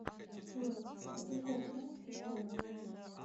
джой про тинькофф знаешь приколы